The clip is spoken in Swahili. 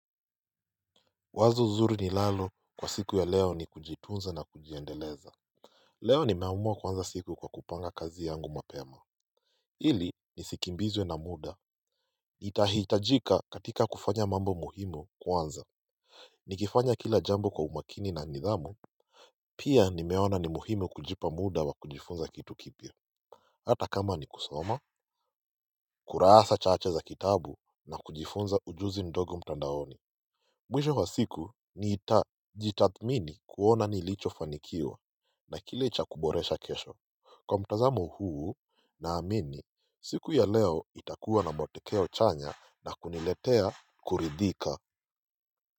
Wazo zuri ninalo kwa siku ya leo ni kujitunza na kujiendeleza. Leo nimeumua kuanza siku kwa kupanga kazi yangu mapema ili nisikimbizwe na muda. Itahitajika katika kufanya mambo muhimu kwanza. Nikifanya kila jambo kwa umakini na nidhamu. Pia nimeona ni muhimu kujipa muda wa kujifunza kitu kipya. Hata kama ni kusoma kurasa chache cha kitabu na kujifunza ujunzi mdogo mtandaoni. Mwisho wa siku nitajitathmini kuona nilichofanikiwa na kile cha kuboresha kesho. Kwa mtazamo huu naamini siku ya leo itakuwa na matokeo chanya na kuniletea kuridhika.